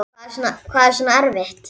Guðrún: Hvað er svona erfitt?